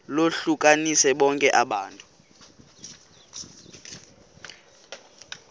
lohlukanise bonke abantu